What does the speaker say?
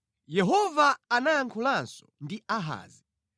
Yehova anayankhulanso ndi Ahazi,